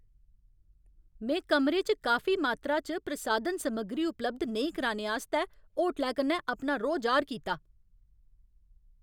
में कमरे च काफी मात्तरा च प्रसाधन समग्री उपलब्ध नेईं कराने आस्तै होटलै कन्नै अपना रोह् जाह्‌र कीता।